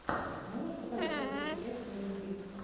можешь показать лучшую часть ник би